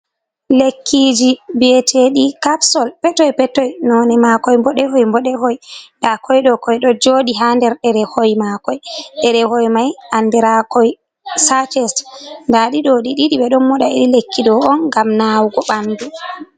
Lekkiji vieteki capsul petoipetoi. None makoi boɗehoi beɗehoi. Nda koi konɗo jodi ha der derehoi makoi. Ɗerehoi mai andirakoi sacet. ƊAɗi ɗo beɗo moɗa iri lekkido on gam nawugo bandu.